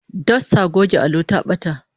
Dostar goge allo ta bata